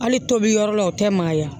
Hali tobi yɔrɔ la o tɛ magaya